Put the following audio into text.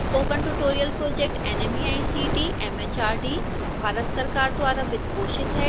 spoken tutorial project nmeict mhrd Bharat सरकार द्वारा वित्तपोषित है